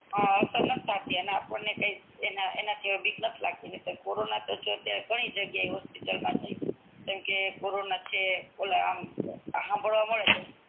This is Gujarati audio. કી અસર નથ થતી અને આપડને એના એના થી બીક નથી લગતી કોરોના તો ઘણી જગ્યા ઈ હોસ્પિટલ મા કે કોરોના છે એમ હંભાડવા મળે છે